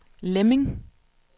Lemming